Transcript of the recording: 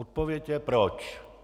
Odpověď je proč.